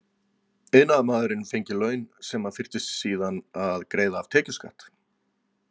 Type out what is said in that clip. Iðnaðarmaðurinn fengi laun sem hann þyrfti síðan að greiða af tekjuskatt.